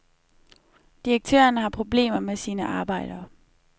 Direktøren har problemer med sine arbejdere.